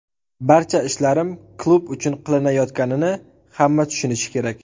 Barcha ishlarim klub uchun qilinayotganini hamma tushunishi kerak”.